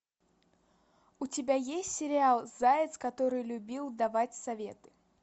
у тебя есть сериал заяц который любил давать советы